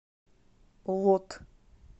лот